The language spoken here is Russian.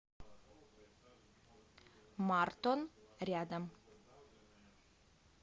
мартон рядом